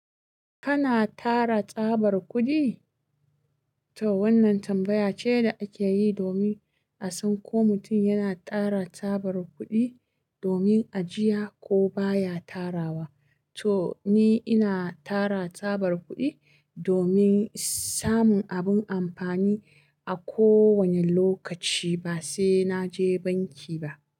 Kana tara tsabar kuɗi? To wannan tambaya ce da akeyi domin asan ko mutum yana tara tsabar kuɗi domin ajiya ko baya tarawa. To ni ina tara tsabar kuɗi domin samun abun amfani a kowane lokaci basai naje banki ba.